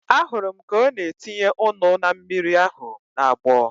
Ahụrụ m ka ọ na-etinye ụnu na mmiri ahu na-agbọ